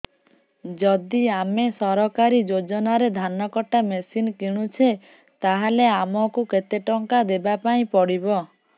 ଯଦି ଆମେ ସରକାରୀ ଯୋଜନାରେ ଧାନ କଟା ମେସିନ୍ କିଣୁଛେ ତାହାଲେ ଆମକୁ କେତେ ଟଙ୍କା ଦବାପାଇଁ ପଡିବ